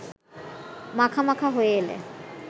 মাখামাখা হয়ে এলে